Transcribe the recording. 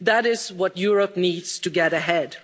That is what Europe needs to get ahead.